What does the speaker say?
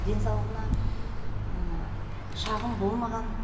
денсаулығына шағым болмаған